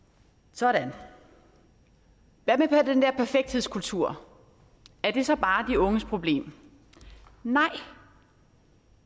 sådan hvad med den der perfekthedskultur er det så bare de unges problem nej